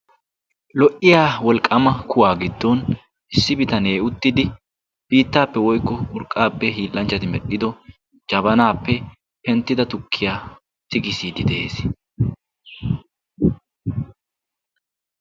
lo77iya wolqqama kuwaa giddon issi bitanee uttidi biittaappe woykko urqqaappe hiillanchchati medhdhido jabanaappe penttida tukkiya tigissiiddi de7ees.